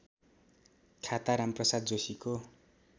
खाता रामप्रसाद जोशीको